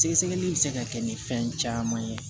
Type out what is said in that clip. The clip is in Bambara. Sɛgɛsɛgɛli bɛ se ka kɛ ni fɛn caman ye